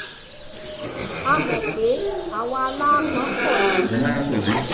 a mọ̀ pé àwọn àwọn aláápọn pọ̀ nínú yín